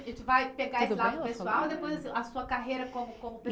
A gente vai pegar isso lá no pessoal, depois a sua carreira como, como pes